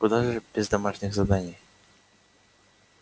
куда же без домашних заданий